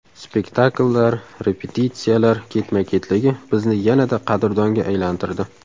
Spektakllar, repetitsiyalar ketma-ketligi bizni yanada qadrdonga aylantirdi.